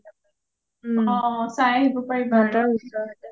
অ অ চাই আহিব পাৰিবা